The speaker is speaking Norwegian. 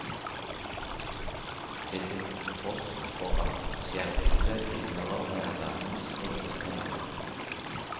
Det til tross for at skjermbildet tilhører værdamens egen kanal.